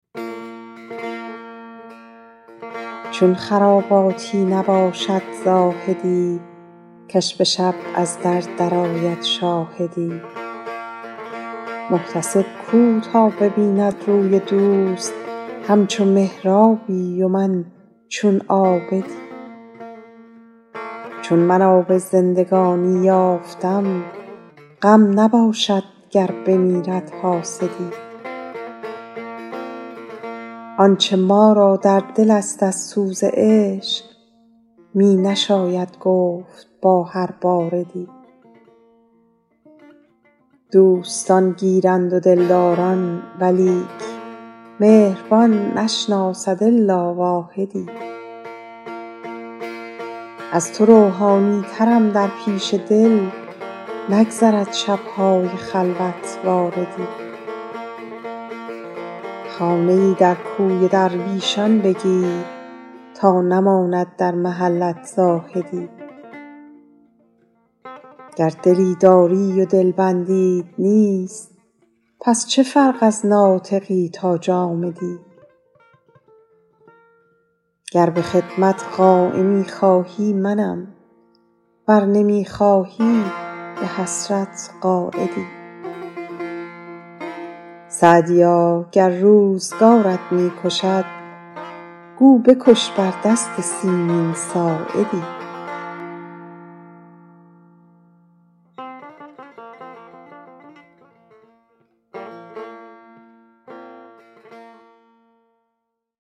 چون خراباتی نباشد زاهدی که ش به شب از در درآید شاهدی محتسب گو تا ببیند روی دوست همچو محرابی و من چون عابدی چون من آب زندگانی یافتم غم نباشد گر بمیرد حاسدی آنچه ما را در دل است از سوز عشق می نشاید گفت با هر باردی دوستان گیرند و دلداران ولیک مهربان نشناسد الا واحدی از تو روحانی ترم در پیش دل نگذرد شب های خلوت واردی خانه ای در کوی درویشان بگیر تا نماند در محلت زاهدی گر دلی داری و دلبندیت نیست پس چه فرق از ناطقی تا جامدی گر به خدمت قایمی خواهی منم ور نمی خواهی به حسرت قاعدی سعدیا گر روزگارت می کشد گو بکش بر دست سیمین ساعدی